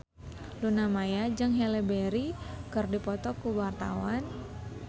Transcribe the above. Luna Maya jeung Halle Berry keur dipoto ku wartawan